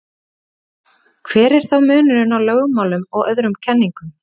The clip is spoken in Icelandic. hver er þá munurinn á lögmálum og öðrum kenningum